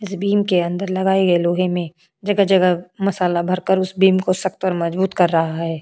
इस बीम के अंदर लगाएं गए लोहे में जगह जगह मसाला भरकर उस बीम को सख्त और मजबूत कर रहा है।